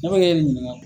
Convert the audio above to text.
Ne bɛ ɲininka